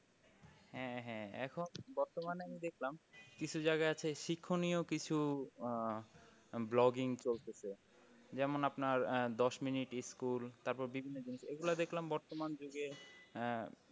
হ্যাঁ হ্যাঁ বর্তমানে আমি দেখলাম কিছু জায়গায় আছে শিক্ষণীয় কিছু আহ vlogging চলতেছে যেমন আপনার আহ দশ mints school তারপর দেখলাম বিভিন্ন জিনিস এইগুলো দেখলাম বর্তমান যুগে আহ